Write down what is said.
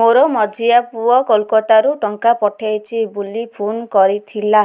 ମୋର ମଝିଆ ପୁଅ କୋଲକତା ରୁ ଟଙ୍କା ପଠେଇଚି ବୁଲି ଫୁନ କରିଥିଲା